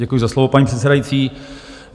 Děkuji za slovo, paní předsedající.